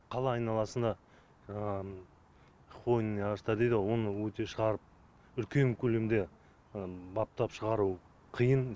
қала айналасына хвойный ағаштар дейді ғой оны өте шығарып үлкен көлемде баптап шығару қиын